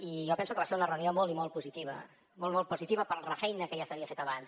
i jo penso que va ser una reunió molt i molt positiva molt positiva per la feina que ja s’havia fet abans